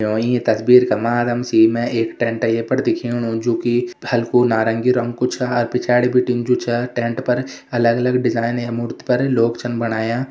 यो ईं तस्वीर का माध्यम से मैं एक टेंट ये पर दिख्येणु जो कि हलकू नारगी रंग कु छा अर पिछाड़ी बिटिन जु छा टेंट पर अलग-अलग डिजायन यह मूर्ति पर लोग छन बणयाँ।